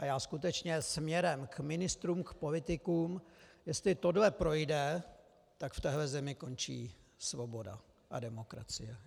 A já skutečně směrem k ministrům, k politikům - jestli tohle projde, tak v téhle zemi končí svoboda a demokracie.